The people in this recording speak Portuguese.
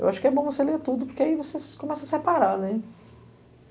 Eu acho que é bom você ler tudo, porque aí você começa a separar, né?